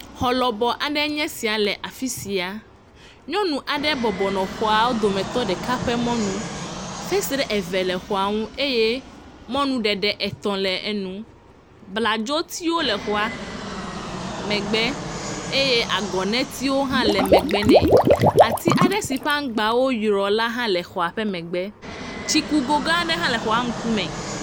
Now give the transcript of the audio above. Xɔ lɔbɔ aɖee nye esia le afi sia. Nyɔnu aɖe bɔbɔnɔ xɔawo dometɔ ɖeka ƒe mɔnu. Fesre eve le xɔa nu eye mɔnu ɖeɖe etɔ̃ le enu. Bladzotiwo le xɔa megbe eye agɔnetei hã le megbe nɛ. Ati aɖe si ƒe aŋgbawo yrɔ la hã le xɔa megbe. Tsikugo ga aɖe hã le xɔa ŋkume.